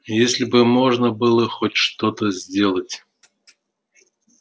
если бы можно было хоть что-то сделать